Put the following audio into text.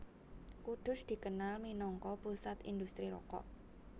Kudus dikenal minangka pusat indhustri rokok